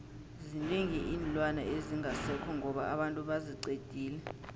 zinengi iinlwana ezingasekho ngoba abantu baziqedile